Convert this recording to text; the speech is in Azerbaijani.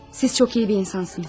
siz çox iyi bir insansınız.